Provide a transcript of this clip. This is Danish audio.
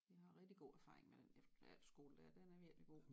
Vi har rigtig god erfaring med den efterskole dér den er virkelig god